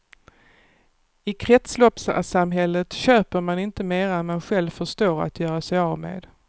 I kretsloppssamhället köper man inte mera än man själv förstår att göra sig av med.